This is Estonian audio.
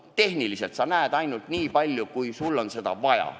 Tehniliselt näed sa ainult nii palju, kui sul on vaja.